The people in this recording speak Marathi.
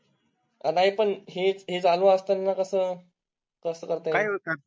नाही पण हे चालू असताना कसं कसं करता? कसं करताय